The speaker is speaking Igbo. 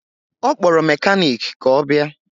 Ọ kpọrọ mekaniki ka ọ bịa